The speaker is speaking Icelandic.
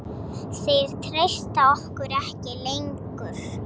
Þeir treysta okkur ekki lengur.